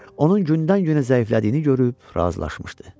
onun gündən-günə zəiflədiyini görüb razılaşmışdı.